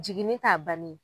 Jigini t'a bannen